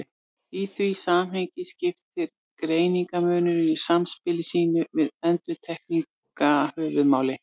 Í því samhengi skiptir greinarmunurinn í samspili sínu við endurtekninguna höfuðmáli.